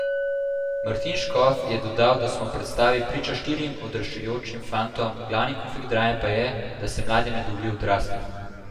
Martin Škof je dodal, da smo v predstavi priča štirim odraščajočim fantom, glavni konflikt drame pa je, da se mladim ne dovoli odrasti.